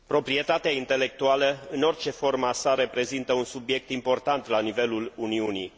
Proprietatea intelectuală, în orice formă a sa, reprezintă un subiect important la nivelul Uniunii.